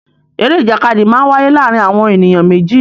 Eré ìjàkadì máa ń wáyé láàárín àwọn ènìyàn méjì